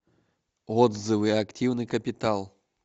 отзывы активный капитал